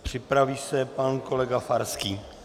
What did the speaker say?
Připraví se pan kolega Farský.